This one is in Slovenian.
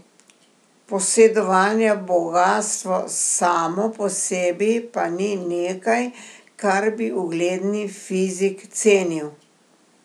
Posedovanje bogastva samo po sebi pa ni nekaj, kar bi ugledni fizik cenil.